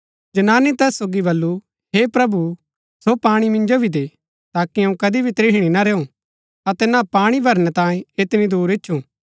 जनानी तैस सोगी वलु हे प्रभु सो पाणी मिन्जो भी दे ताकि अऊँ कदी भी त्रिहणी ना रैऊ अतै ना पाणी भरनै तांयें ऐतनी दूर इच्छु